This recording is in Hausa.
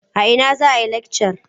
A ina za a yi lakcar?